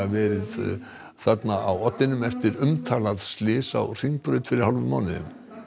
verið þarna á oddinum eftir umtalað slys á Hringbraut fyrir hálfum mánuði